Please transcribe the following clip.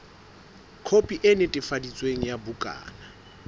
khopi e netefaditsweng ya bukana